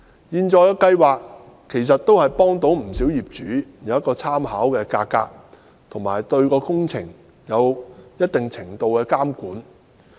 現在的計劃讓不少業主有參考價格，亦對工程有一定程度的監管。